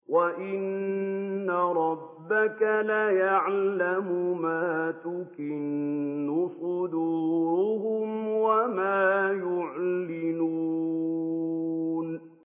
وَإِنَّ رَبَّكَ لَيَعْلَمُ مَا تُكِنُّ صُدُورُهُمْ وَمَا يُعْلِنُونَ